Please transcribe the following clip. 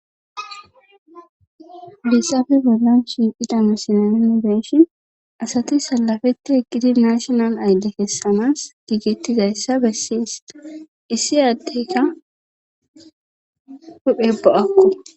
lissafe bolan shiqidame sinanabeshin asati salafetti eqqidi nashional aydde kessamas giigettizayssa bessiista issi addeyka huphebo akku